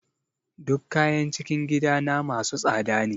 Duk kayan cikin gidana masu tsada ne.